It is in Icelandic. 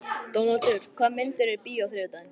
Dónaldur, hvaða myndir eru í bíó á þriðjudaginn?